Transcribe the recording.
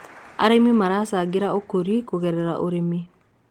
arĩmi maracangira ukuri kugerera ũrĩmi